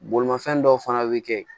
Bolimafɛn dɔw fana bɛ kɛ